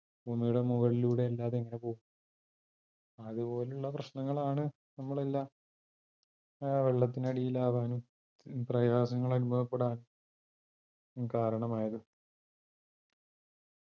ഭൂമിയുടെ മുകളിലൂടെ അല്ലാതെ എങ്ങനെ പോകും അത്പോലുള്ള പ്രശ്നങ്ങളാണ് നമ്മളെല്ലാം ഏർ വെള്ളത്തിനടിയിലാവാനും പ്രയാസങ്ങളനുഭവപ്പെടാനും കാരണമായത്